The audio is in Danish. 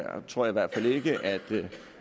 tror jeg